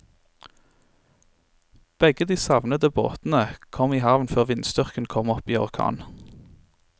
Begge de savnede båtene kom i havn før vindstyrken kom opp i orkan.